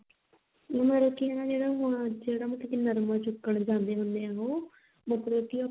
ਮਤਲਬ ਕੀ ਹਨਾ ਹੁਣ ਜਿਹੜਾ ਮਤਲਬ ਕੀ ਨਰਮਾ ਚੁਗਣ ਜਾਂਦੇ ਹੁੰਦੇ ਆ ਉਹ ਮਤਲਬ ਕੀ ਉਹ